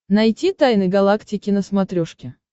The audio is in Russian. найти тайны галактики на смотрешке